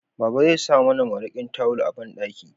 Baba zai sa mana mariƙin tawul a banɗaki